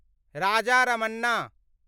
Raja Ramanna